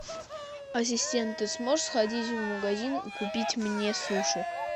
ассистент ты сможешь сходить в магазин и купить мне суши